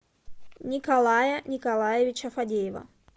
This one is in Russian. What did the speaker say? николая николаевича фадеева